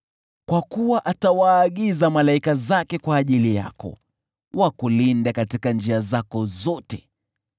Kwa kuwa atawaagiza malaika zake kwa ajili yako, wakulinde katika njia zako zote.